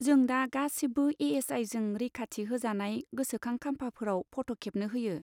जों दा गासिबो ए.एस.आइ.जों रैखाथि होजानाय गोसोखां खाम्फाफोराव फट' खेबनो होयो।